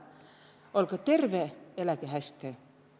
Olgõ terve, eläge häste!